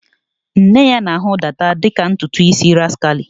Nne ya na-ahụ dada dị ka ntutu isi rascally